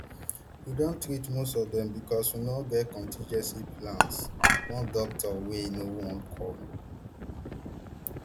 we don treat most of dem becos we no get contingency plans one doctor wey no want call